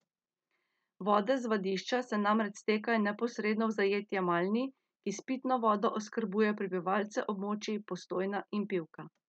Vode z vadišča se namreč stekajo neposredno v zajetje Malni, ki s pitno vodo oskrbuje prebivalce občin Postojna in Pivka.